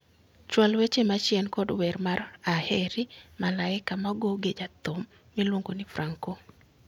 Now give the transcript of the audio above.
Chwal weche machien kod wer mar aheri malaika ma ogo gi jathum miluongo ni Franco.